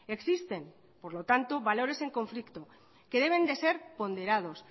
existen por lo tanto valores en conflicto que deben de ser ponderados